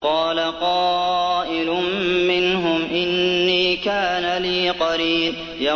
قَالَ قَائِلٌ مِّنْهُمْ إِنِّي كَانَ لِي قَرِينٌ